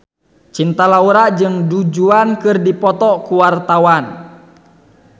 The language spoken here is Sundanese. Cinta Laura jeung Du Juan keur dipoto ku wartawan